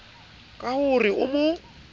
ka ho re o mo